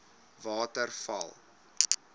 waterval